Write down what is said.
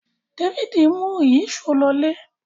Davidi mú Ìyíṣòó ló ilé